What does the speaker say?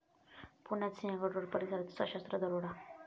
पुण्यात सिंहगड रोड परिसरात सशस्त्र दरोडा